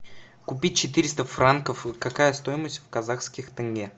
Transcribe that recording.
купить четыреста франков какая стоимость в казахских тенге